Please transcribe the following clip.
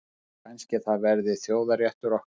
Kannski það verði þjóðarréttur okkar.